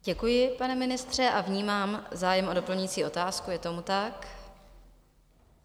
Děkuji, pane ministře, a vnímám zájem o doplňující otázku, je tomu tak?